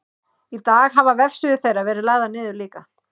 í dag hafa vefsíður þeirra verið lagðar niður líka